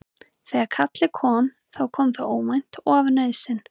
Þegar kallið kom þá kom það óvænt og af nauðsyn.